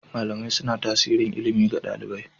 Malamai suna tasiri ilimi ga ɗalibi.